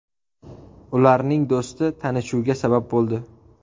Ularning do‘sti tanishuvga sabab bo‘ldi.